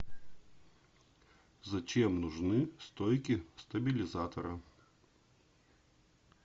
зачем нужны стойки стабилизатора